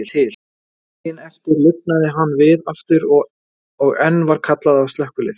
Daginn eftir lifnaði hann við aftur, og enn var kallað á slökkvilið.